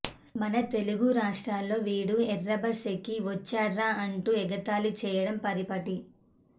మన తెలుగు రాష్ట్రాల్లో వీడు ఎర్రబస్ ఎక్కి వచ్చాడ్రా అంటూ ఎగతాళి చేయడం పరిపాటి